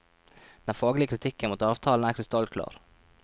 Den faglige kritikken mot avtalen er krystallklar.